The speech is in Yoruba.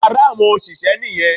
Yàrá àwọn òṣìṣẹ́ nì yan